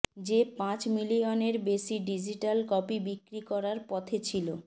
যে পাঁচ মিলিয়নের বেশি ডিজিটাল কপি বিক্রি করার পথে ছিল